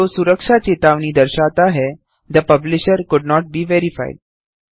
window सुरक्षा चेतावनी दर्शाता है the publisher could not be verified